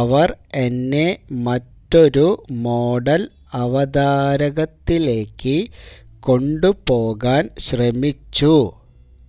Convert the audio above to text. അവർ എന്നെ മറ്റൊരു മോഡൽ അവതാരകത്തിലേക്ക് കൊണ്ടുപോകാൻ ശ്രമിച്ചു